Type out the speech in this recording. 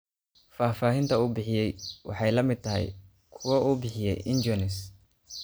Faahfaahinta uu bixiyay waxay la mid tahay kuwa uu bixiyay Enjuanes.